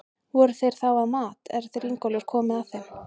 Voru þeir þá að mat, er þeir Ingólfur komu að þeim.